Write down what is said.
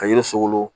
Ka yiri sogolon